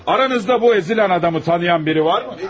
Aranızda bu əzilən adamı tanıyan biri varmı?